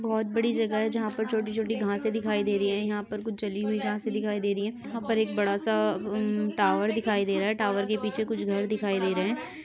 बहुत बड़ी जगह है यहां पर छोटी-छोटी घसे दिखाई दे रही है यहाँ पर कुछ जली हुई घसे दिखाई दे रही है यहां पर बड़ा सा उम् टावर दिखाई दे रहा है टावर के पीछे कुछ घर दिखाई दे रहें हैं।